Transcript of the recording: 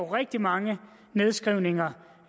rigtig mange nedskrivninger